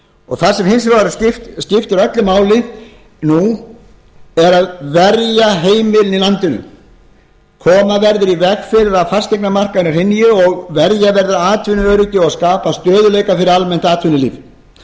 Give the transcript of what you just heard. það sem hins vegar öllu máli skiptir nú er að verja heimilin í landinu koma verður í veg fyrir að fasteignamarkaðurinn hrynji verja verður atvinnuöryggi og skapa stöðugleika fyrir almennt atvinnulíf